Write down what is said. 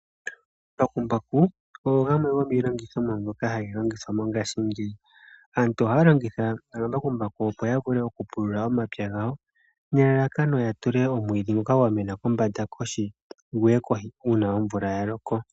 Omambakumbaku ogo gamwe gomiilongithomwa mbyoka hayi longithwa mongaashingeyi. Aantu ohaya longitha omambakumbaku opo ya vule okupulula omapya gawo nelalakano ya tule omwiidhi ngoka gwa mena kombanda kohi uuna omvula ya loko.